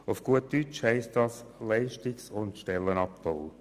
Auf gut Deutsch heisst dies Leistungs- und Stellenabbau.